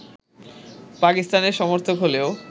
পাকিস্তানের সমর্থক হলেও